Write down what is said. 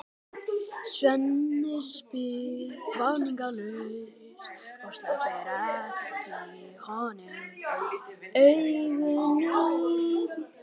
Svenni spyr vafningalaust og sleppir ekki af honum augunum.